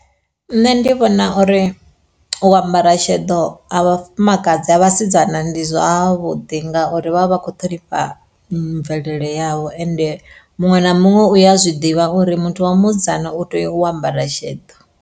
Nṋe ndi vhona uri u ambara sheḓo ha vhafumakadzi ha vhasidzana ndi zwavhuḓi ngauri vha vha vha kho ṱhonifha mvelele yavho ende muṅwe na muṅwe uya zwiḓivha uri muthu wa musidzana u tea u ambara sheḓo.